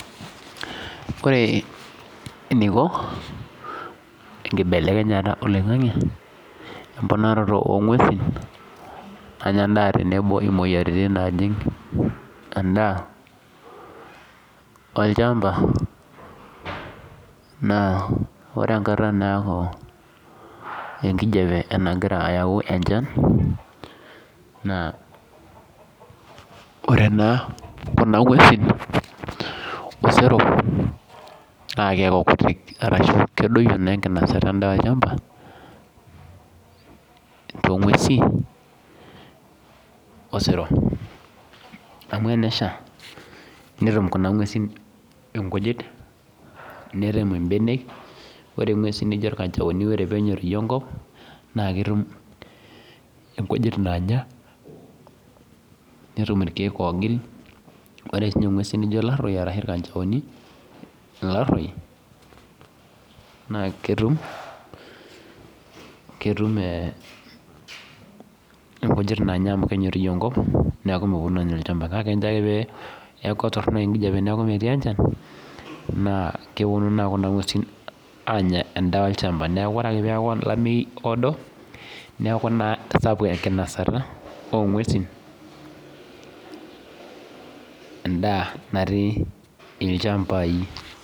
Ore eniko enkibelekenyata oloingangi emponaroto ongwesu tenebo moyiaritin endaa olchamba na ore enkata naaku enkijape enayau enchan na ore na kuna ngwesi osero na keaku kutik na kedoyio na enkinosata endaa olcham tenesha amu tenesha netum kuna ngwesi nkujit nerem mbenek ore ngweusi nijobirkanjaoni ore penyoriju enkopnetum inkujit onya netum irkiek ogil ore sinye ngwesi nijo laroi ashu irkanjaoni ilaroi na ketum nkujit nanya neaku meponu anya olchamba kake ore enkop Torono enkijape nemetii enchan na keponu anya endaa olchamba neaku ore ake pasapuk olameyu na keponu longwesin endaa natii ilchambai.